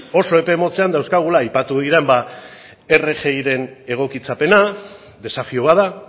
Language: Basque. oso epe motzean dauzkagula aipatu diren ba rgi ren egokitzapena desafio bat da